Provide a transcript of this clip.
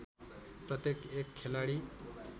प्रत्येक एक खेलाडी